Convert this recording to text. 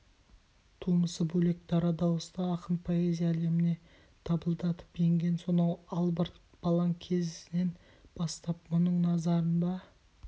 тумысы бөлек дара дауысты ақын поэзия әлеміне дабылдатып енген сонау албырт балаң кезінен бастап мұның назарында